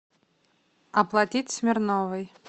оплатить смирновой